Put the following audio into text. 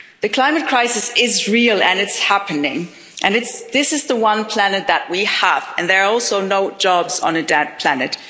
The climate crisis is real and it's happening This is the one planet that we have, and there are also no jobs on a dead planet.